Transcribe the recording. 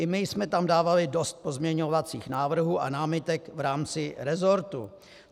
I my jsme tam dávali dost pozměňovacích návrhů a námitek v rámci resortu.